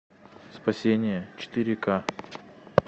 спасение четыре ка